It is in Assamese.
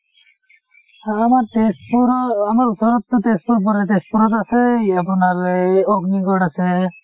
আমাৰ তেজপুৰৰ আমাৰ ওচৰত টো তেজপুৰ পৰে তেজপুৰত আছে এই আপোনাৰ অগ্নিগড় আছে ।